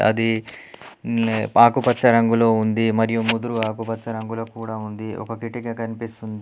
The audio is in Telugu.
అది న్ ఆకుపచ్చ రంగులో ఉంది మరియు ముదురు ఆకుపచ్చ రంగుల కూడా ఉంది ఒక కిటిక కనిపిస్తుంది.